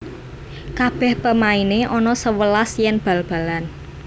Kabeh pemaine ono sewelas yen bal balan